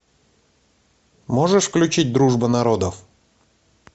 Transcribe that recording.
можешь включить дружба народов